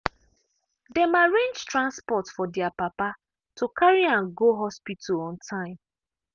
dem arrange transport for their papa to carry am go hospital on time.